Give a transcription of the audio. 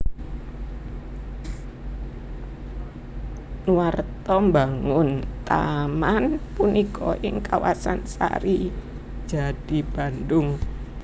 Nuarta mbangun taman punika ing kawasan Sarijadi Bandung